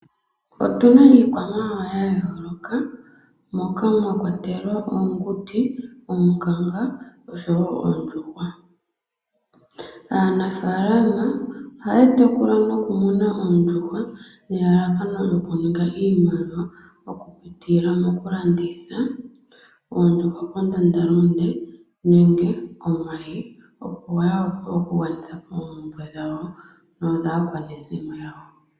Otuna iikwamawawa ya yooloka, moka mwa kwatelwa oonguti, oonkanga osho wo oondjuhwa. Aanafaalama oha ya tekula noku muna oondjuhwa, nel alakano oku ninga iimaliwa, oku pitila moku landitha, ondjuhwa kondanda lunde nenge omayi, opo ya vule oku gwanithapo oombumbwe dhawo no dhaa kwanezimo yawo.